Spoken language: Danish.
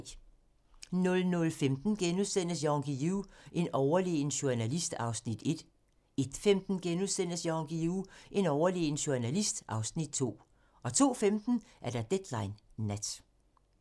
00:15: Jan Guillou - en overlegen journalist (Afs. 1)* 01:15: Jan Guillou - en overlegen journalist (Afs. 2)* 02:15: Deadline Nat